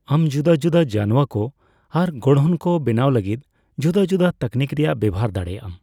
ᱟᱢ ᱡᱩᱫᱟᱹᱡᱩᱫᱟᱹ ᱡᱟᱱᱣᱟᱠᱚ ᱟᱨ ᱜᱚᱲᱦᱚᱱ ᱠᱚ ᱵᱮᱱᱟᱣ ᱞᱟᱹᱜᱤᱫ ᱡᱩᱫᱟᱹᱼᱡᱩᱫᱟᱹ ᱛᱟᱹᱠᱱᱤᱠ ᱨᱮᱭᱟᱜ ᱵᱮᱵᱚᱦᱟᱨ ᱫᱟᱲᱮᱭᱟᱜᱼᱟᱢ ᱾